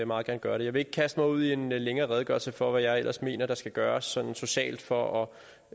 meget gerne gøre det jeg vil ikke kaste mig ud i en længere redegørelse for hvad jeg ellers mener der skal gøres sådan socialt for at